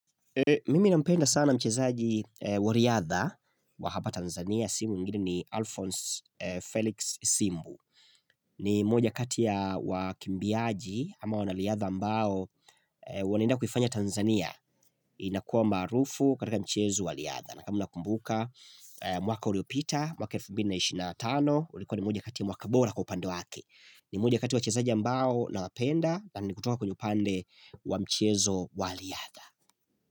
Mimi na nampenda sana mchezaji wa riadha wa hapa Tanzania si mwingine ni Alphonse Felix Simbu ni mmoja kati ya wakimbiaji ama wanariadha ambao wanaenda kuifanya Tanzania inakuwa maarufu katika mchezo wa riadha na kama nakumbuka mwaka uliopita mwaka 2025 ulikuwa ni moja ya mwaka bora kwa upande wake ni mmoja kati ya wachezaji ambao nawapenda na nikutoka kwenye upande wa mchezo wa riadha.